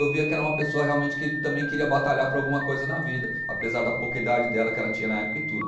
Eu via que era uma pessoa realmente que também queria batalhar por alguma coisa na vida, apesar da pouca idade dela que ela tinha na época e tudo.